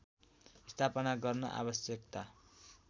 स्थापना गर्न आवश्यकता